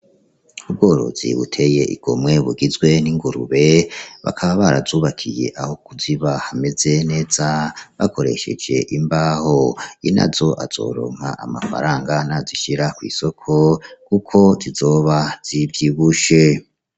Ubworozi buteye igomwe bugizwe n'ingurube, bakaba barazubakiye aho kuziba hameze neza bakoresheje imbaho, inazo azoronka amafaranga nazishira kw'isoko kuko zizoba zivyibushe.